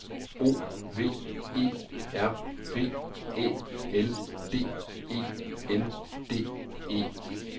O V E R V Æ L D E N D E